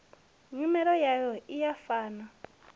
nyimele yayo i sa fani